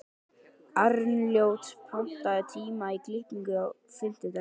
Arnljót, pantaðu tíma í klippingu á fimmtudaginn.